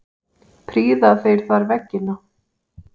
Prýða þeir þar veggina.